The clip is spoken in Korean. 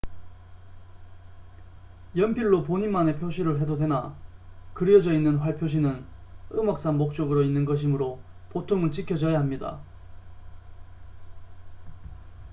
연필로 본인만의 표시를 해도 되나 그려져 있는 활 표시는 음악상 목적으로 있는 것이므로 보통은 지켜져야 합니다